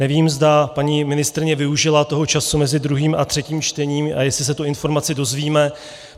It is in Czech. Nevím, zda paní ministryně využila toho času mezi druhým a třetím čtením a jestli se tu informaci dozvíme.